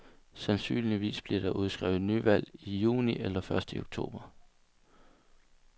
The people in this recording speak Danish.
Sandsynligvis bliver der udskrevet nyvalg i juni eller først i oktober.